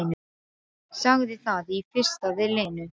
Sagði það í fyrstu við Lenu.